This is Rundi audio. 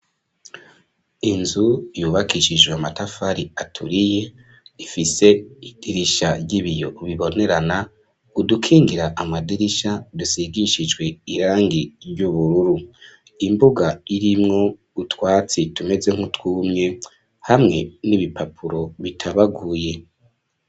Inzu, yubakishijwe amatafari aturiye, ifise idirisha, ry'ibiyo bibonerana, udukingira amadirisha, dusigishijwe irangi ry'ubururu; imbuga, irimwo utwatsi, tumeze nk'utwumye, hamwe n'ibipapuro bitabaguye.